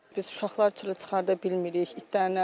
Biz uşaqları çölə çıxarda bilmirik itlərin əlindən.